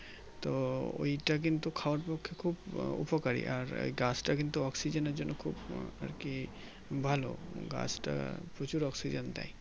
তো ওই তা কিন্তু খাওয়ার পক্ষে খুব উপকারী আর এই গাছটা কিন্তু Oxygen এর জন্য খুব আরকি ভালো গাছটা প্রচুর Oxygen দেয়